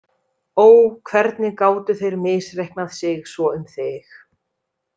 Ó, hvernig gátu þeir misreiknað sig svo um þig?